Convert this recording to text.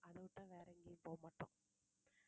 அதைவிட்டா வேற எங்கயும் போக மாட்டோம்.